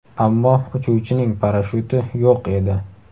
Ammo uchuvchining parashyuti yo‘q edi.